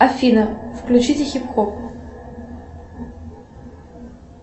афина включите хип хоп